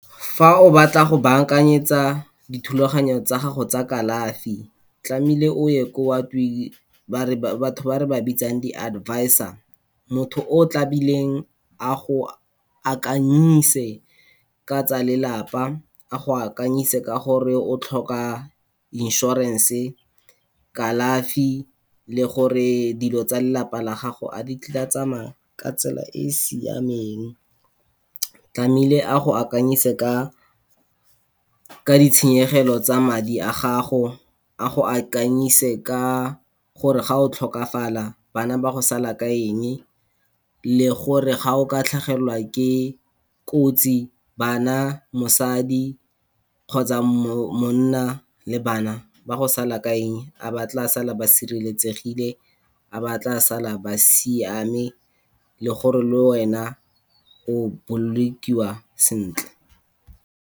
Fa o batla go baakanyetsa dithulaganyo tsa gago tsa kalafi, tlamehile o ye kwa batho ba re ba bitsang di-advisor, motho o tlamehileng a go akanyise ka tsa lelapa, a go akanyise ka gore o tlhoka insurance-e, kalafi le gore dilo tsa lelapa la gago a di tla tsamaya ka tsela e siameng. Tlamehile a go akanyise, ka ditshenyegelo tsa madi a gago, a go akanyise ka gore ga o tlhokafala, bana ba go sala ka eng le gore ga o ka tlhagelwa ke kotsi bana, mosadi kgotsa monna le bana ba go sala ka eng a ba tla sala ba sireletsegile, a ba tla sala ba siame le gore le wena o bolokiwa sentle.